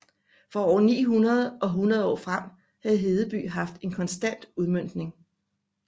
Fra år 900 og 100 år frem har Hedeby haft en konstant udmøntning